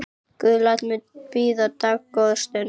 Guð lætur mig bíða dágóða stund.